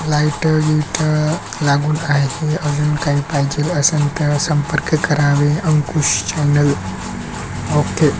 Light beat लागून आहे अजून काही पाहिजेल असेल तर संपर्क करावे अकुश चॅनेल ओके .